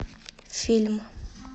фильм